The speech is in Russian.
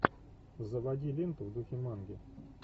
заводи ленту в духе манги